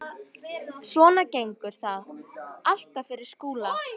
Svona gengur það alltaf fyrir Skúla.